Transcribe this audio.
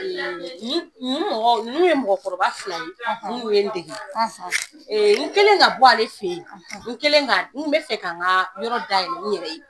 Ninnu ye mɔgɔkɔrɔba fila ye minnu ye n dege, n kɛlen ka bɔ ale fɛ yen n bɛ fɛ ka n ka yɔrɔ dayɛlɛ n yɛrɛ ye